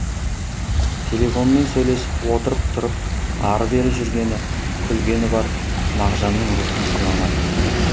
телефонмен сөйлесіп отырып тұрып ары бері жүргені күлгені бар мағжанның рухын сыйламады